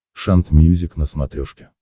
шант мьюзик на смотрешке